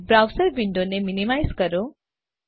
browser window ને minimise કરો